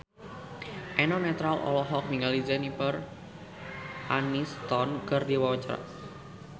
Eno Netral olohok ningali Jennifer Aniston keur diwawancara